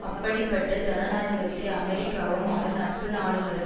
அப்படிப்பட்ட ஜனநாயகத்தை அமெரிக்காவும் அதன் நட்பு நாடுகளும்